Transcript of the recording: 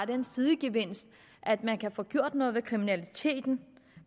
den sidegevinst at man kan få gjort noget ved kriminaliteten